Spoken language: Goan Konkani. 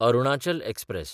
अरुणाचल एक्सप्रॅस